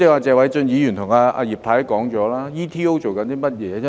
謝偉俊議員和葉太剛才已說了 ，ETO 在做甚麼？